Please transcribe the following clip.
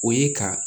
O ye ka